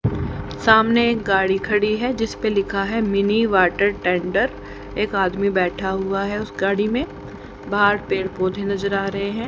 सामने एक गाड़ी खड़ी हैजिस पे लिखा है मिनी वाटर टेंडर एक आदमी बैठा हुआ है उस गाड़ी में बाहर पेड़ पौधे नजर आ रहे हैं।